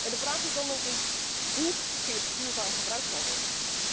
De vraag is dan ook niet hoe gif duurzaam gebruikt kan worden.